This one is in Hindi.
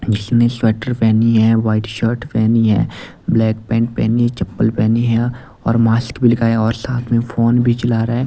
जिसने स्वेटर पहनी है वाइट शर्ट पहनी है ब्लैक पैंट पहनी है चप्पल पहनी है और मास्क भी लगाया और साथ में फोन भी चला रहा है।